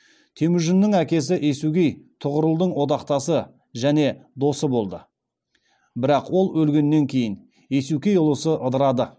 темүжіннің әкесі есугей тұғырылдың одақтасы және досы болды бірақ ол өлгеннен кейін есукей ұлысы ыдырады